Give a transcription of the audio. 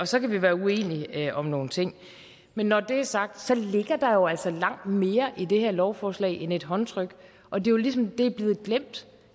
så kan vi være uenige om nogle ting men når det er sagt ligger der jo altså langt mere i det her lovforslag end et håndtryk og det er ligesom blevet glemt